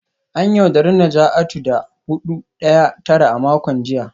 An yaudari Najatu da hudu daya tara a makon jiya